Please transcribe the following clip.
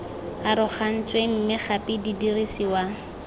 arogantsweng mme gape di dirisiwa